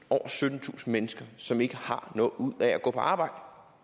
syttentusind mennesker som ikke har noget ud af at gå på arbejde